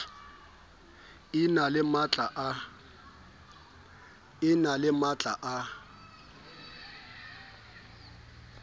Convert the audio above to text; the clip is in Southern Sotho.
e na le matla a